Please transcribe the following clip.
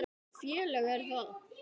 Hvaða félag er það?